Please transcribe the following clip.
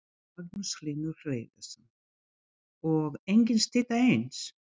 Magnús Hlynur Hreiðarsson: Og engin stytta eins?